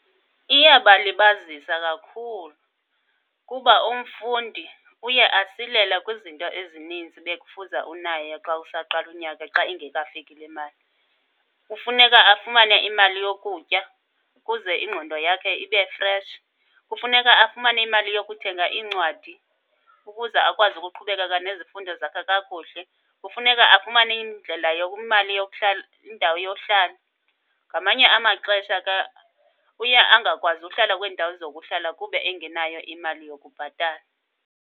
Iyabalibazisa kakhulu kuba umfundi uye asilele kwizinto ezinintsi bekufuza unayo xa usaqala unyaka xa ingekafiki le mali. Kufuneka afumane imali yokutya ukuze ingqondo yakhe ibe freshi. Kufuneka afumane imali yokuthenga iincwadi ukuze akwazi ukuqhubekeka nezifundo zakhe kakuhle. Kufuneka afumane indlela , imali yokuhlala, indawo yohlala. Ngamanye amaxesha ke uye angakwazi uhlala kwezi ndawo zokuhlala kube engenayo imali yokubhatala.